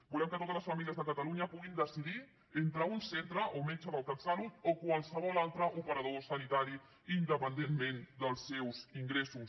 volem que totes les famílies de catalunya puguin decidir entre un centre o metge del catsalut o qualsevol altre operador sanitari independentment dels seus ingressos